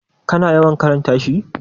kana yawan karanta shi?